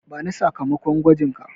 Bani sakamakon gwajinka.